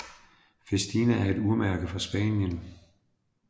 Festina er et urmærke fra Spanien